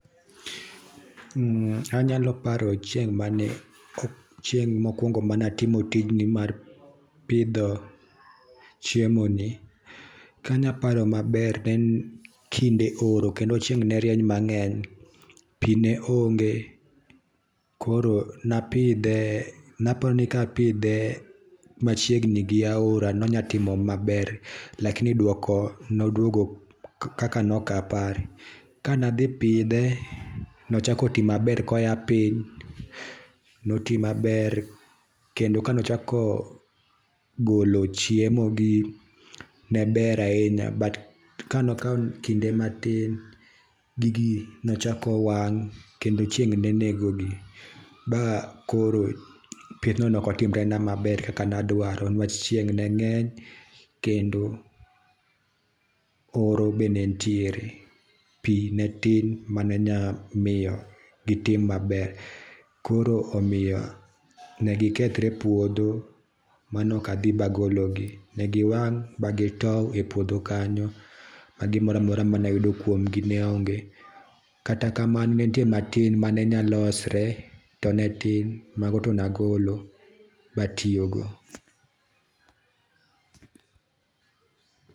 Anyalo paro chieng mokuongo ane. atimo tijni mar pidho chiemo ni, anya paro mangeny ne en kinde oro kendo chieng ne rieny mangeny ,pii ne onge koro napidh e,napani kapidhe machiegni gi aora nonya timo maber lakini duoko noduogo kaka noak apar. Kane adhi pidhe nochako tii maber koya piny notii maber kendo kanochako golo chiemo gi neber ahinya but kano kaw kinde matin gig nochako wang kendo chieng nenego gi ba koro pidho no neok otimore na maber kaka ndwaro niwach chieng ne ngeny kendo oro be nentiere. Pii ne tin mane nya miyo gitii maber koro omiyo ne gikethre e puodho ma ok nadhi magoglogi , negi wang magitow e puodho kanyo ma gimoro amora mayudo kuom gi kanyo ne onge. Kata kamano ne nitie matin man enya losre to ne tin, mago to ne agolo ma atiyo go